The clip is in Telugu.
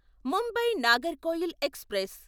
ముంబై నాగర్కోయిల్ ఎక్స్ప్రెస్